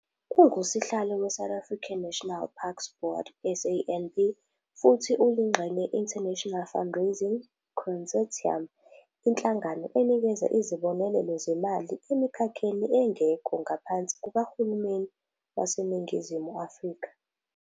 UnguSihlalo weSouth African National Parks Board, SANP, futhi uyingxenye ye-International Fundraising Consortium, inhlangano enikeza izibonelelo zemali emikhakheni engekho ngaphansi kukahulumeni waseNingizimu Afrika.